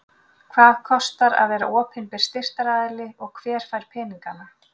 Hvað kostar að vera opinber styrktaraðili og hver fær peningana?